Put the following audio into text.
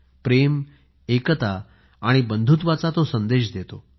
प्रेम आणि एकता आणि बंधुत्वाचा संदेश हा सण देतो